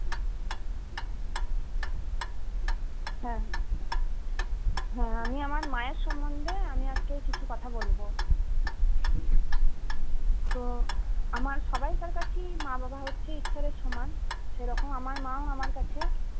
হ্যাঁ আমি আমার মায়ের সম্বন্ধে আমি আজকে কিছু কথা বলবো তো আমার সবাইকার কাছেই মা বাবা হচ্ছে ঈশ্বরের সমান সেরকম আমার মাও আমার কাছে